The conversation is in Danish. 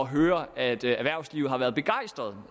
høre at erhvervslivet har været begejstret